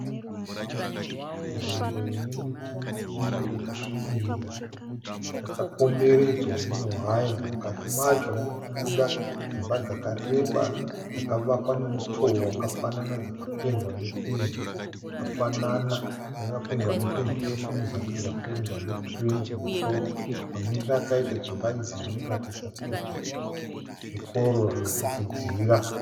Nzvimbo ine miti mikuru yakasvibira yakakomberedzwa newaya. Mukati macho murikubuda dzimba dzakareba dzakavakwa nemutoo wakafanana dzikapendwa nependi yakafanana. Dzakapendwa nependi tsvuku muzasi dzikapendwa nekirimu kumusoro. Mamiriro akaita dzimba idzi zvinoratidza kuti zvikoro zvokudzidzira.